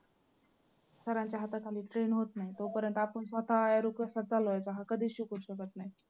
sir च्या हाताखाली train होत नाही तोपर्यंत आपण स्वतः arrow कसा चालवायचा हा कधीच शिकवू शकत नाही.